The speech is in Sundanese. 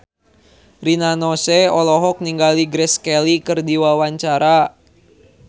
Rina Nose olohok ningali Grace Kelly keur diwawancara